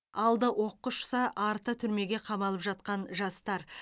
алды оққа ұшса арты түрмеге қамалып жатқан жастар